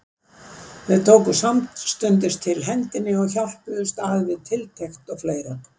Þau tóku sömuleiðis til hendinni og hjálpuðust að við tiltekt og fleira.